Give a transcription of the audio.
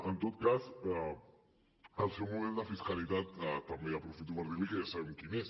en tot cas el seu model de fiscalitat també aprofito per dir l’hi ja sabem quin és